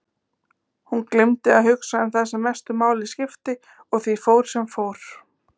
Hún gleymdi að hugsa um það sem mestu máli skipti og því fór sem fór.